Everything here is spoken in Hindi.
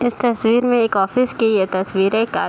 इस तस्वीर में एक ऑफिस की ये तस्वीर है का --